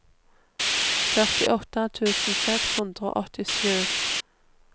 førtiåtte tusen seks hundre og åttisju